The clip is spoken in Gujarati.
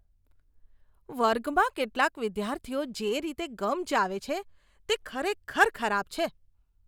વર્ગમાં કેટલાક વિદ્યાર્થીઓ જે રીતે ગમ ચાવે છે તે ખરેખર ખરાબ છે.